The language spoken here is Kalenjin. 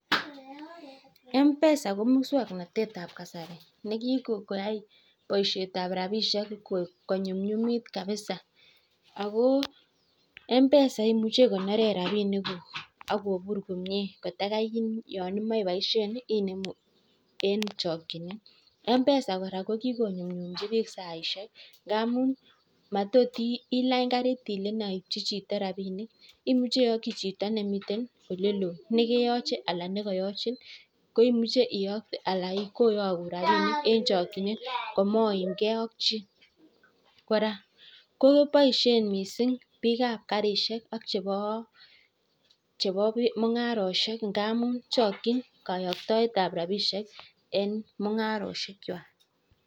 Mpesa kikwai baishet ab rabishek ko nyumnyumit koraa ikonoree chekondok koraa iyakji chito nemii oloo ak mungaret